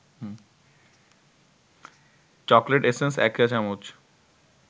chocolate essence ১ চা-চামচ